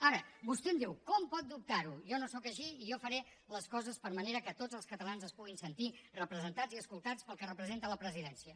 ara vostè em diu com pot dubtar ho jo no sóc així i jo faré les coses de manera que tots els catalans es puguin sentir representats i escoltats pel que representa la presidència